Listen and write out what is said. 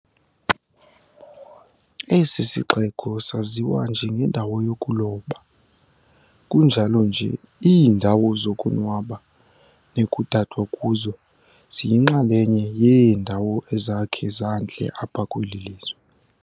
Esi sixeko saziwa njengendawo yokuloba, kunjalo nje iindawo zokonwaba nekudadwa kuzo ziyinxalenye yeendawo ezakhe zantle apha kweli lizwe.